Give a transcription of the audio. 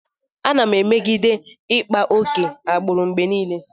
Ana m emegide ịkpa oke agbụrụ mgbe niile.